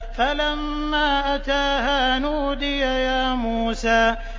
فَلَمَّا أَتَاهَا نُودِيَ يَا مُوسَىٰ